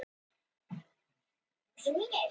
Aðeins kaldur veruleikinn.